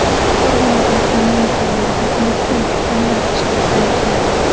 Farg‘onada jamoat joylarida elektron kutubxonalar tashkil etilmoqda.